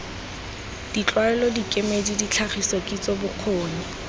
ditlwaelo dikemedi ditlhagiso kitso bokgoni